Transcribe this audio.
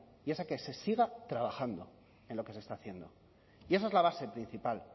y es a que se siga trabajando en lo que se está haciendo y esa es la base principal